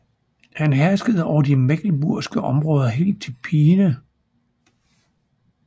Han herskede over de mecklenburgske områder helt til Peene